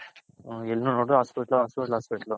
ಎಲ್ಲ ನೋಡದ್ರು hospital, hospital, hospital